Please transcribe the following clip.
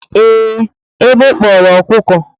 ee, egbe kporo okuko.